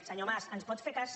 senyor mas ens pot fer cas